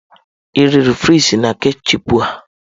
Ị riri frịsị na ketchịupụ?